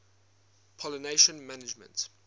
pollination management